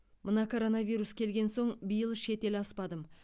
мына коронавирус келген соң биыл шет ел аспадым